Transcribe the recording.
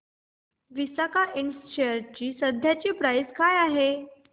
Visaka ind च्या share ची सध्याची प्राइस काय आहे